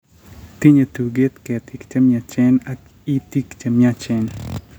Tinyei tuget, keetiik che myachen ak itiik che myachen.